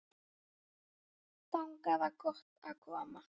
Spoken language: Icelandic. Þangað var gott að koma.